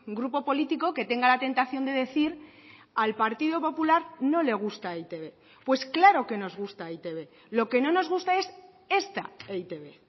grupo político que tenga la tentación de decir al partido popular no le gusta e i te be pues claro que nos gusta e i te be lo que no nos gusta es esta e i te be